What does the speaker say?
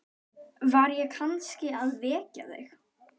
Var ég kannski að vekja þig?